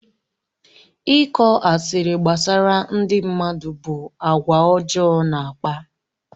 Ịkọ asịrị gbasara ndị mmadụ bụ àgwà ọjọọ na-akpa.